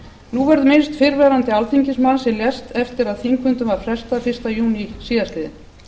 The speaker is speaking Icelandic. nú verður minnst fyrrverandi alþingismanns sem lést eftir að þingfundum var frestað í júní síðastliðinn